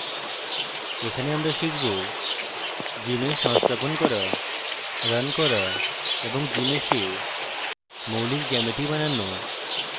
এখানে আমরা শিখব gmsh সংস্থাপন করা রান করা এবং gmsh we মৌলিক জ্যামিতি বানানো